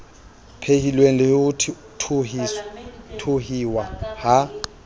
phehilweng le ho thuhiwa ha